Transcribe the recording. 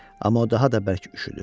Amma o daha da bərk üşüdü.